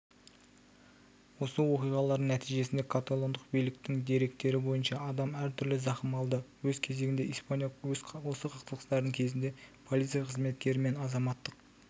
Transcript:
осы оқиғалардың нәтижесінде каталондық биліктің деректері бойынша адам әртүрлі зақым алды өз кезегінде испания осы қақтығыстар кезінде полиция қызметкері мен азаматтық